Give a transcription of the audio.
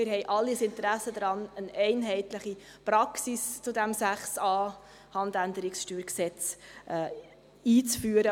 Wir haben alle ein Interesse daran, eine einheitliche Praxis zu Artikel 6a HG einzuführen.